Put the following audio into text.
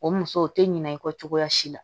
O muso o tɛ ɲinan i kɔ cogoya si la